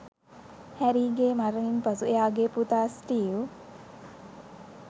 හැරීගේ මරණින් පසු එයාගේ පුතා ස්ටීව්